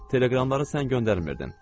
Teleqramları sən göndərmirdin.